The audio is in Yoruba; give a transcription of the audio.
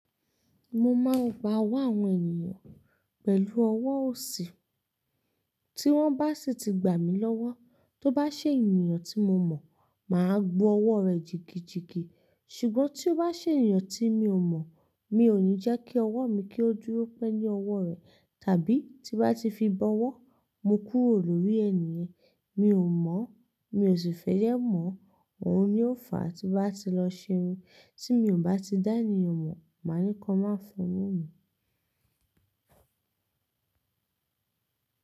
Mo máa ń gba ọwọ́ àwọn ènìyàn pẹ̀lú ọwọ́ òsì. Tí wọ́n bá sì ti gbà mí lọ́wọ́, tó bá ṣe ènìyàn tí mo mọ̀, màá gbo ọwọ́ rẹ̀ jìgijìgi. Ṣùgbọ́n tí ó bá ṣe ènìyàn tí mi ò mọ̀, mi ò ní jẹ́ kí ọwọ́ mi kí ó dúró pẹ́ ní ọwọ́ rẹ̀, tàbí tí bá ti fi bọ wọ́, mo kúrò lórí ènìyẹn. Mi ò mọ̀, mi ò sì fẹ́ yẹ́ mọ̀. Òun ni ó fàá tí bá ti lọ ṣe irun. Tí mi ò bá ti dá ènìyàn mọ̀, màá ní kọ má fún un mí.